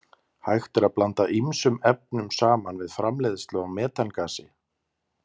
Hægt er að blanda ýmsum efnum saman við framleiðslu á metangasi.